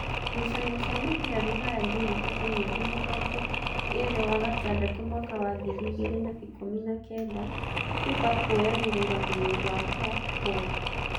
Ngucanio cia mũbira Ruraya Jumatatũ mweri mĩrongoĩrĩ wa gatandatũ mwaka wa ngiri igĩrĩ na ikũmi na kenda: Biba kũoya mũrũgamĩrĩri wa Kaf - Kũngi ?